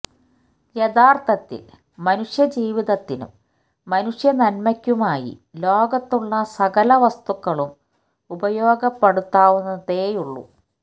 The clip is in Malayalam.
യഥാര്ഥത്തില് മനുഷ്യ ജീവിതത്തിനും മനുഷ്യ നന്മക്കുമായി ലോകത്തുള്ള സകല വസ്തുക്കളും ഉപയോഗപ്പെടുത്താവുന്നതേയുള്ളൂ